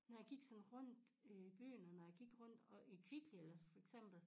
Når jeg gik sådan rundt i byen og når jeg gik rundt og i Kvickly eller for eksempel